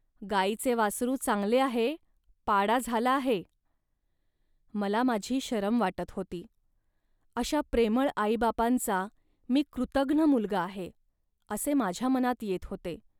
गाईचे वासरू चांगले आहे, पाडा झाला आहे. मला माझी शरम वाटत होती, अशा प्रेमळ आईबापांचा मी कृतघ्न मुलगा आहे, असे माझ्या मनात येत होते